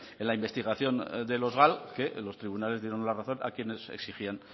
en la investigación de los gal que los tribunales dieron la razón a quienes exigían